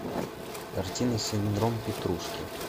картина синдром петрушки